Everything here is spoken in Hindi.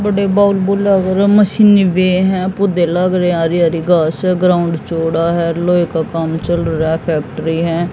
मशीने भी है पौधे लग रहे है हरी हरी घास है ग्राउंड चौड़ा है लोहे का काम चल रह्या है फैक्ट्री है।